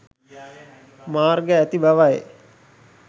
මාර්ග ඇති බවයි